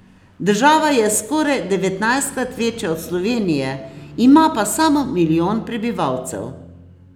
Država je skoraj devetnajstkrat večja od Slovenije, ima pa samo milijon prebivalcev.